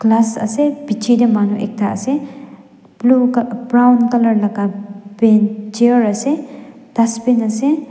ase bichae tae manu ekta ase blue brown colour laka pen chair ase dustbin ase.